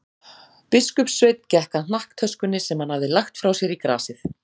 Biskupssveinn gekk að hnakktöskunni sem hann hafði lagt frá sér í grasið.